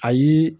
Ayi